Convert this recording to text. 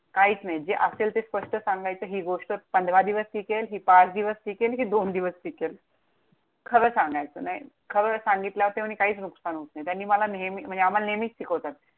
काहीच नाही. जे असेल ते स्पष्ट सांगायचं. हि गोष्ट पंधरा दिवस टिकेल, हि पाच दिवस टिकेल, हि दोन दिवस टिकेल. खरं सांगायचं, नाही! खरं सांगितल्यावरती म्हणे काहीच नुकसान होत नाही. त्यांनी मला नेहमी, म्हणजे आम्हाला नेहमीच शिकवतात.